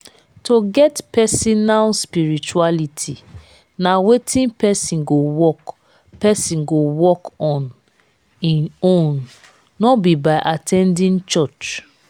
to get personal spirituality na wetin person go work person go work on in own no be by at ten ding church